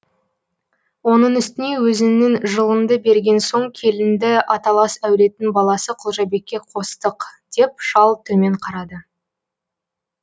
оның үстіне өзіңнің жылыңды берген соң келінді аталас әулеттің баласы құлжабекке қостық деп шал төмен қарады